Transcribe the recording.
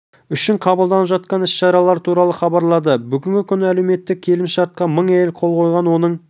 үшін қабылданып жатқан іс-шаралар туралы хабарлады бүгінгі күні әлеуметтік келісімшартқа мың әйел қол қойған оның